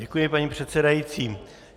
Děkuji, paní předsedající.